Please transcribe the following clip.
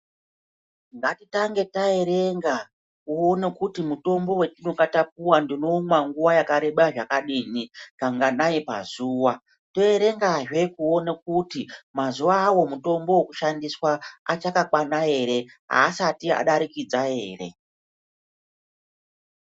Ngati tange ta erenga kuone kuti mutombo watinonge tapuwa ndinoumwa nguva yakareba zvakadini kanganai pazuva to erenga zve kuona kuti mazuva awo mutombo wo kushandiswa achaka kwana ere asati adarikidza ere.